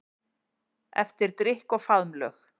Eftir drykk og faðmlög.